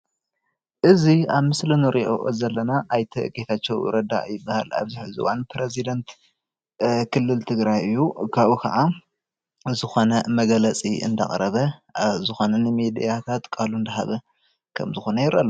እዚ ኣብ ምስሊ እንሪኦ ዘለና ኣይተ ጌታቸው ረዳ ይበሃል። ኣብዚ ሕዚ እዋን ፕረዚዳንት ክልል ትግራይ እዩ፡፡ ካብኡ ከዓ ዝኮነ መግለፂ እንዳቅረበ ዝኮነ ሚድታት ቃሉ እንዳሃበ ከም ዝኮነ የርኢ ኣሎ፡፡